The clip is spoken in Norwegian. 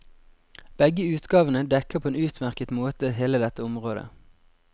Begge utgavene dekker på en utmerket måte hele dette området.